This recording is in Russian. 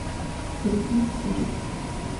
бритни спирс